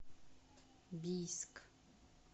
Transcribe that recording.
бийск